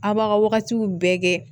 A' b'a ka wagatiw bɛɛ kɛ